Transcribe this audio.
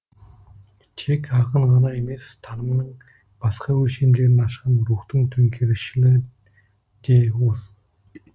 тек ақын ғана емес танымның басқа өлшемдерін ашқан рухтың төңкерісшілі де осы